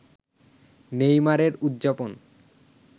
নেইমারের উদযাপন